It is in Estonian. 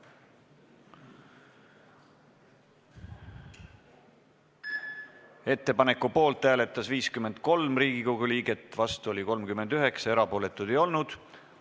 Hääletustulemused Ettepaneku poolt hääletas 53 Riigikogu liiget ja vastu oli 39 liiget, erapooletuid ei olnud.